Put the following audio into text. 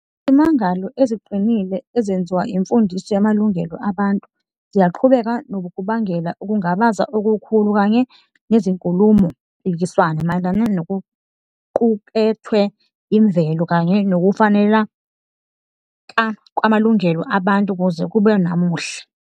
Izimangalo eziqinile ezenziwa imfundiso yamalungelo abantu ziyaqhubeka nokubangela ukungabaza okukhulu kanye nezinkulumo-mpikiswano mayelana nokuqukethwe imvelo kanye nokufaneleka kwamalungelo abantu kuze kube namuhla.